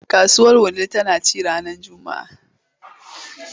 Kasuwar Wudil tana ci ranar Juma’a.